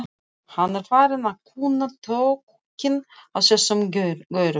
Hann er farinn að kunna tökin á þessum gaurum.